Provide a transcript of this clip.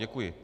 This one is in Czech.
Děkuji.